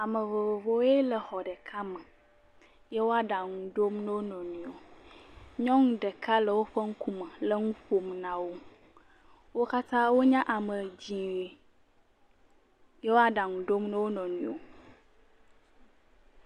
Ame vovovowoe le exɔ ɖeka me, ye wo aɖaŋu ɖom ne wo nɔ nɔewo, nyɔnu ɖeka le woƒe ŋkume, le nun ƒom na wo. Wo katã wonye ame dzee, ye wo aɖaŋu ɖom ne wo nɔ nɔewo.